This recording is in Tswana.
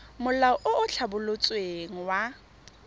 molao o o tlhabolotsweng wa